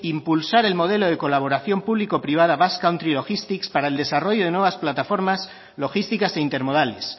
impulsar el modelo de colaboración público privada basque country logistics para el desarrollo de nuevas plataformas logísticas e intermodales